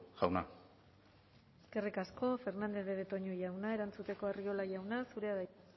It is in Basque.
jauna eskerrik asko fernandez de betoño jauna erantzuteko arriola jauna zurea da hitza